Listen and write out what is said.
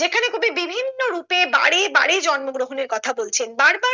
যেখানে কবি বিভিন্ন রূপে বারে বারে জন্ম গ্রহণের কথা বলেছন বার বার